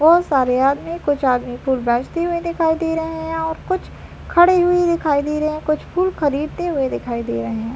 बोहोत सारे आदमी कुछ आदमी फूल मस्ती बेचते हुए दिखाई दे रहे है और कुछ खड़े हुए दिखाई दे रहे है कुछ फूल खरीदते हुए दिखाई दे रहे है।